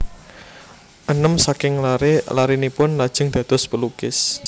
Enem saking laré larénipun lajeng dados pelukis